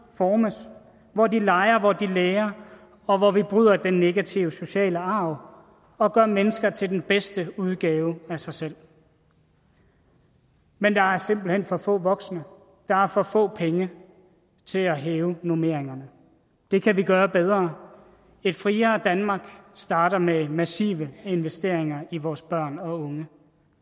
formes hvor de leger hvor de lærer og hvor vi bryder den negative sociale arv og gør mennesker til den bedste udgave af sig selv men der er simpelt hen for få voksne der er for få penge til at hæve normeringerne det kan vi gøre bedre et friere danmark starter med massive investeringer i vores børn og unge